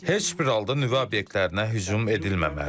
Heç bir halda nüvə obyektlərinə hücum edilməməlidir.